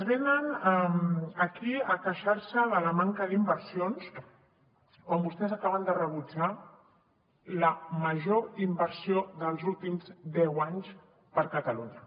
venen aquí a queixar se de la manca d’inversions quan vostès acaben de rebutjar la major inversió dels últims deu anys per a catalunya